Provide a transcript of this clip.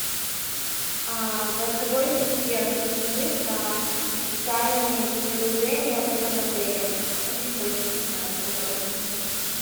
голосовой ассистент расскажи про специальные предложения в этом отеле очень хочется знать подробности